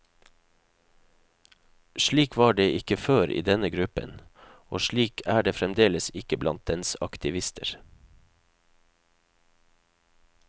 Slik var det ikke før i denne gruppen, og slik er det fremdeles ikke blant dens aktivister.